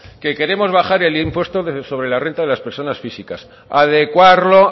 que queremos bajar el impuesto sobre la renta de las personas físicas adecuarlo